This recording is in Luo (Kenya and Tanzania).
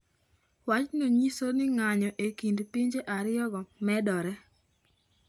Wachno nyiso ni ng’anjo e kind pinje ariyogo medore.